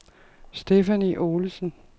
Stephanie Olesen